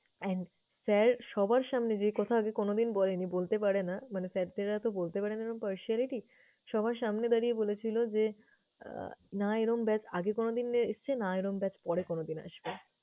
and sir সবার সামনে যে কথা আগে কোনোদিন বলেনি, বলতে পারেনা মানে sir তারাতো বলতে পারেনা এরম partiality । সবার সামনে দাঁড়িয়ে বলেছিলো যে, আহ না এরম batch আগে কোনোদিন এসছে, না এরম batch পরে কোনোদিন আসবে।